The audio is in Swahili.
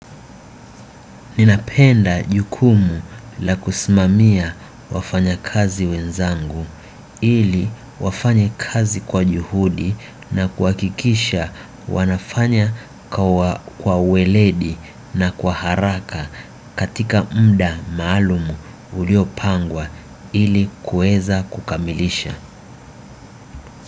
Ninapenda jukumu la kusimamia wafanyakazi wenzangu ili wafanya kazi kwa juhudi na kuhakikisha wanafanya kwa uweledi na kwa haraka katika muda maalumu uliopangwa ili kuweza kukamilisha.